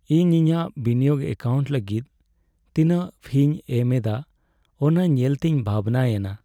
ᱤᱧ ᱤᱧᱟᱹᱜ ᱵᱤᱱᱤᱭᱳᱜᱽ ᱮᱠᱟᱣᱩᱱᱴ ᱞᱟᱹᱜᱤᱫ ᱛᱤᱱᱟᱹᱜ ᱯᱷᱤᱧ ᱮᱢ ᱮᱫᱟ ᱚᱱᱟ ᱧᱮᱞᱛᱮᱧ ᱵᱷᱟᱵᱽᱱᱟᱭᱮᱱᱟ ᱾